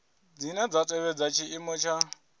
dzine dza tevhedza tshiimo tsha